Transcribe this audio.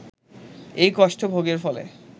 এই কষ্ট ভোগের ফলে